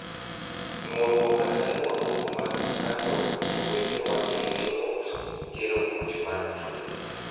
Nuoruok kata luoruok mag sando jowetewa ei joot kelo muoch mag tungni.